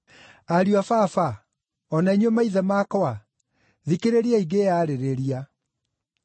“Ariũ a Baba, o na inyuĩ maithe makwa, thikĩrĩriai ngĩĩyarĩrĩria.”